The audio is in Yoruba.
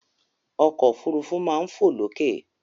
Ọkọ̀ òfurufú máa ń fo lókè.